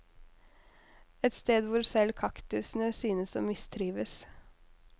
Et sted hvor selv kaktusene syntes å mistrives.